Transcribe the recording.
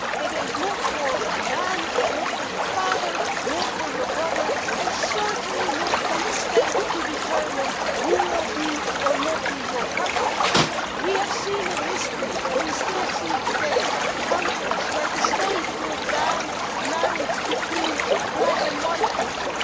It is not for the man, not for your father, not for your brother and certainly not for the state to determine who will or will not be your partner. We have seen in history, and we still see today, countries where the state bans marriage between black and white people.